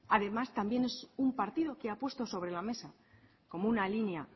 además también es un partido que ha puesto sobre la mesa como una línea